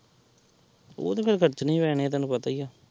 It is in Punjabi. ਉਹ ਤੇ ਫੇਰ ਖਰਚਣੇ ਹੀ ਪੈਣੇ ਆ ਤੈਨੂੰ ਪਤਾ ਹੀ ਆ।